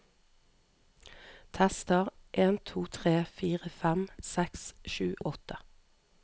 Tester en to tre fire fem seks sju åtte